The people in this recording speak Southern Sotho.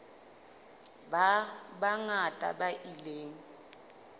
ba bangata ba ile ba